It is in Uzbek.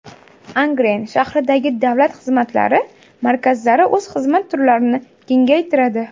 Angren shahridagi davlat xizmatlari markazlari o‘z xizmat turlarini kengaytiradi.